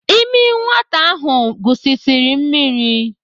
Ịmị nwata ahụ gusisiri mmiri.